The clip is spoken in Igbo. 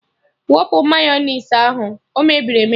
Wụpụ Mayọnais ahụ! O mebiri emebi